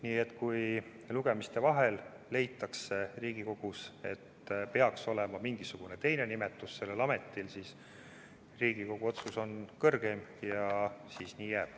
Nii et kui lugemiste vahel leitakse Riigikogus, et peaks olema mingisugune teine nimetus sellel ametil, siis Riigikogu otsus on kõrgeim ja siis nii jääb.